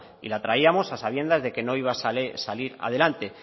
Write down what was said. y la traíamos a sabiendas de que no iba sale salir adelante